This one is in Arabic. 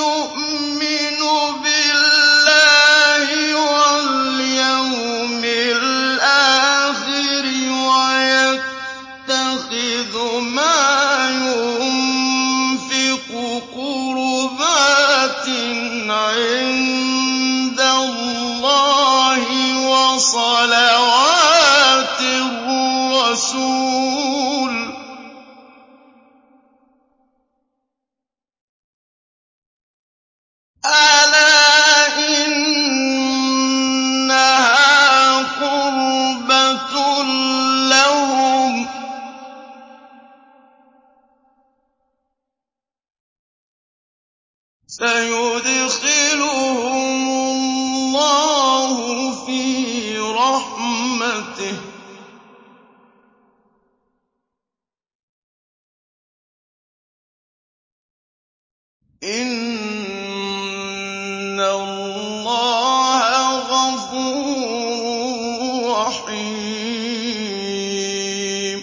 يُؤْمِنُ بِاللَّهِ وَالْيَوْمِ الْآخِرِ وَيَتَّخِذُ مَا يُنفِقُ قُرُبَاتٍ عِندَ اللَّهِ وَصَلَوَاتِ الرَّسُولِ ۚ أَلَا إِنَّهَا قُرْبَةٌ لَّهُمْ ۚ سَيُدْخِلُهُمُ اللَّهُ فِي رَحْمَتِهِ ۗ إِنَّ اللَّهَ غَفُورٌ رَّحِيمٌ